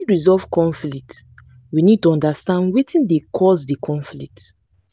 to fit resolve conflict we need to understand wetin dey cause di conflict